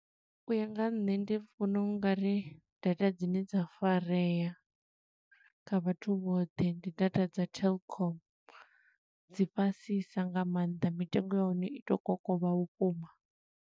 U ya nga ha nṋe ndi vhona ungari data dzine dza farea kha vhathu vhoṱhe, ndi data dza telkom. Dzi fhasisa nga maanḓa, mitengo ya hone i to kokovha vhukuma.